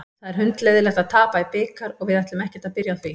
Það er hundleiðinlegt að tapa í bikar og við ætlum ekkert að byrja á því.